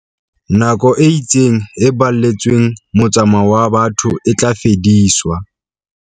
Nako e itseng e baletsweng motsamao wa batho e tla fediswa.